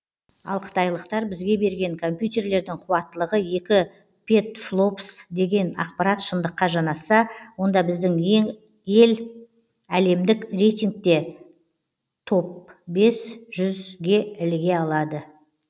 ал қытайлықтар бізге берген компьютерлердің қуаттылығы екі петфлопс деген ақпарат шындыққа жанасса онда біздің ел әлемдік рейтингте топ бес жүзге іліге алады